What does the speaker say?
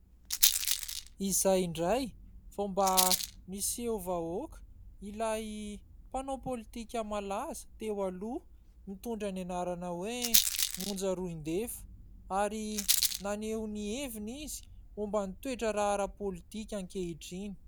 Izay indray vao mba miseho vahoaka ilay mpanao pôlitika malaza teo aloha mitondra ny anarana hoe : Monja Roindefo ary naneho ny heviny izy momban'ny toe-draharaha pôlitika ankehitriny.